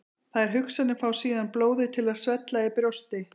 Þær hugsanir fá síðan blóðið til að svella í brjósti.